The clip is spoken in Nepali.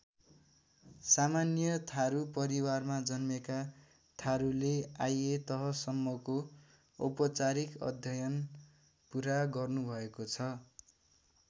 सामान्य थारु परिवारमा जन्मेका थारुले आइ ए तहसम्मको औपचारिक अध्ययन पुरा गर्नुभएको छ।